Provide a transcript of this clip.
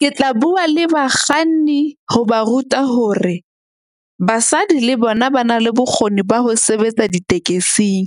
Ke tla bua le bakganni ho ba ruta hore basadi le bona ba na le bokgoni ba ho sebetsa ditekesing.